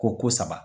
Ko ko saba